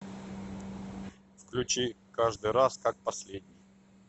включи каждый раз как последний